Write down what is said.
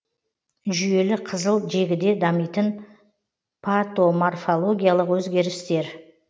жүйелі қызыл жегіде дамитын патоморфологиялық өзгерістер